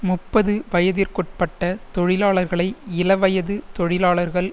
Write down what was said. முப்பது வயதிற்குட்பட்ட தொழிலாளர்களை இள வயது தொழிலாளர்கள்